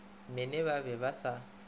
mene ba be ba sa